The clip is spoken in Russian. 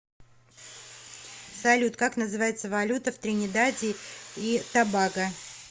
салют как называется валюта в тринидаде и тобаго